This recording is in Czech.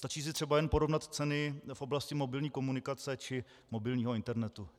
Stačí si třeba jen porovnat ceny v oblasti mobilní komunikace či mobilního internetu.